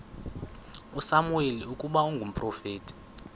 usamuweli ukuba ngumprofeti